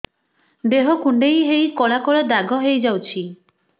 ଦେହ କୁଣ୍ଡେଇ ହେଇ କଳା କଳା ଦାଗ ହେଇଯାଉଛି